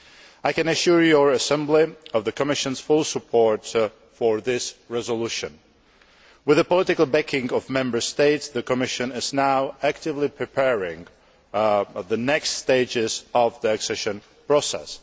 I can assure the House of the Commission's full support for this resolution. With the political backing of Member States, the Commission is now actively preparing the next stages of the accession process.